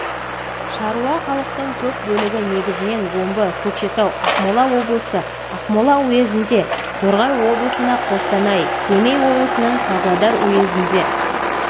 шаруа халықтың көп бөлігі негізінен омбы көкшетау ақмола облысы ақмола уезінде торғай облысында қостанай семей облысының павлодар уезінде